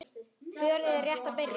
Fjörið er rétt að byrja.